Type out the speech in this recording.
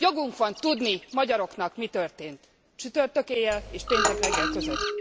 Jogunk van tudni, magyaroknak, mi történt csütörtök éjjel és péntek reggel között!